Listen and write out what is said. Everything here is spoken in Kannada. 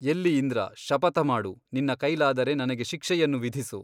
ಎಲ್ಲಿ ಇಂದ್ರ ಶಪಥ ಮಾಡು ನಿನ್ನ ಕೈಲಾದರೆ ನನಗೆ ಶಿಕ್ಷೆಯನ್ನು ವಿಧಿಸು.